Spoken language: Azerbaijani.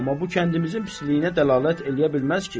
Amma bu kəndimizin pisliyinə dəlalət eləyə bilməz ki?